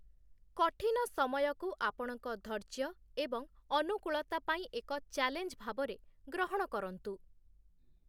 କଠିନ ସମୟକୁ ଆପଣଙ୍କ ଧୈର୍ଯ୍ୟ ଏବଂ ଅନୁକୂଳତା ପାଇଁ ଏକ ଚ୍ୟାଲେଞ୍ଜ ଭାବରେ ଗ୍ରହଣ କରନ୍ତୁ ।